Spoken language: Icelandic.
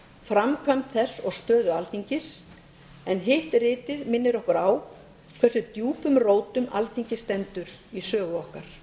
framkvæmd þess og stöðu alþingis en hitt ritið minnir okkur á hversu djúpum rótum alþingi stendur í sögu okkar